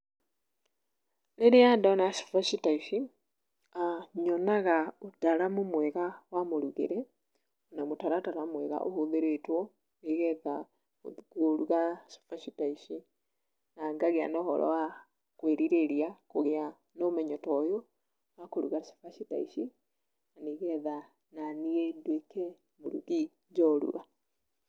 Rĩrĩa ndona cabaci ta ici, nyonaga ũtaramu mwega wa mũrugĩre na mũtaratara mwega ũhũthĩrĩtwo, nĩgetha kũruga cabaci ta ici, na ngagĩa na ũhoro wa kwĩrirĩria kũgĩa na ũmenyo ta ũyũ wa kũruga cabaci ta ici, nĩgetha naniĩ ndũĩke mũrugi njorua.